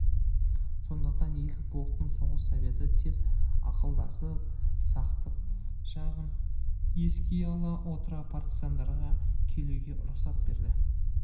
сондықтан екі полктың соғыс советі тез ақылдасып сақтық жағын еске ала отыра партизандарға келуге рұқсат берді